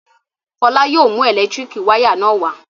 Fọlá yóò mú ẹ̀lẹ́tíríkì wayà náà wá.